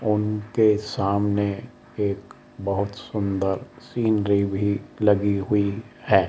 उनके सामने एक बहोत सुंदर सीनरी भी लगी हुई है।